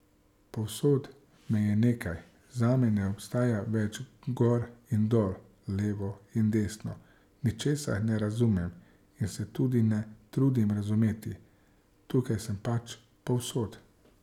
Povsod me je nekaj, zame ne obstaja več gor in dol, levo in desno, ničesar ne razumem in se tudi ne trudim razumeti, tukaj sem pač, povsod.